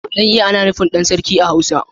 Dan iya ana nufin dan sarki a hausa.